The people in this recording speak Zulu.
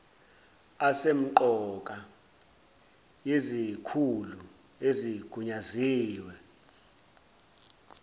esempqoka yezikhulu ezigunyanziwe